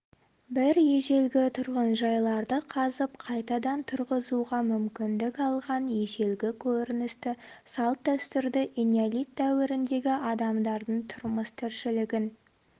бір ежелгі тұрғынжайларды қазып қайтадан тұрғызуға мүмкіндік алған ежелгі көріністі салт-дәстүрді энеолит дәуіріндегі адамдардың тұрмыс-тіршілігін